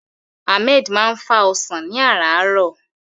Ahmed máa ń fá ọsàn ní àràárọ̀.